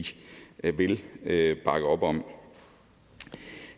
vil bakke op om